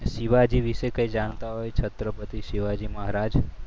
શિવાજી વિશે કઈ જાણકારી છત્રપતિ શિવાજી મહારાજ?